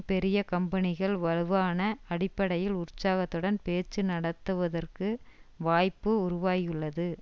பெரிய கம்பெனிகள் வலுவான அடிப்படையில் உற்சாகத்துடன் பேச்சு நடத்துவதற்கு வாய்ப்பு உருவாகியுள்ளது